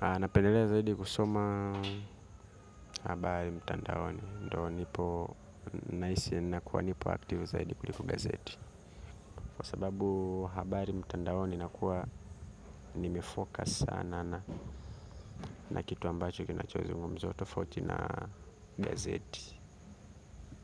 Anapendelea zaidi kusoma habari mtandaoni, ndo nipo naisi nakuwa nipo aktivo zaidi kuliko gazeti. Kwa sababu habari mtandaoni nakuwa nimefocus sana na kitu ambacho kinachozungumzwa tofauti na gazeti.